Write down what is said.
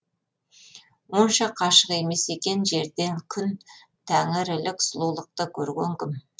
онша қашық емес екен жерден күн тәңірілік сұлулықты көрген кім